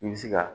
I bɛ se ka